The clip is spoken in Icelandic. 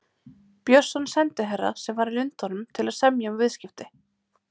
Björnsson sendiherra, sem var í Lundúnum til að semja um viðskipti.